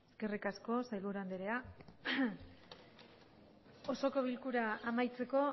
eskerrik asko sailburu anderea osoko bilkura amaitzeko